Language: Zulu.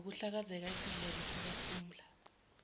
ngokuhlakaza isidleke sikaphumla